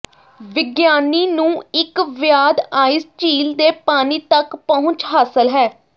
ਵਿਗਿਆਨੀ ਨੂੰ ਇੱਕ ਵਿਆਦ ਆਈਸ ਝੀਲ ਦੇ ਪਾਣੀ ਤੱਕ ਪਹੁੰਚ ਹਾਸਲ ਹੈ